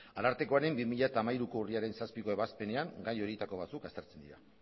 arartekoaren bi mila hamairuko urriaren zazpiko ebazpenean gai horietako batzuk aztertzen dira